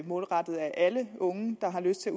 målrettet alle unge der har lyst til